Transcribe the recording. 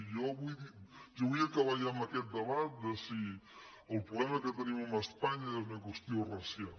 jo vull acabar ja amb aquest debat de si el problema que tenim amb espa·nya és una qüestió racial